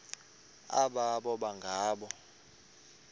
aba boba ngoo